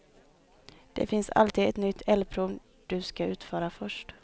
Det finns alltid ett nytt eldprov du ska utföra först.